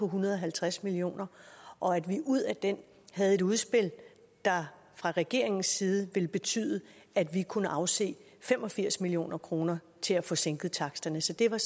hundrede og halvtreds million kr og at vi ud af den havde et udspil der fra regeringens side ville betyde at vi kunne afse fem og firs million kroner til at få sænket taksterne så det var